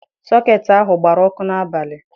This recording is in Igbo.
Sọketị ahụ gbara ọkụ n'abalị.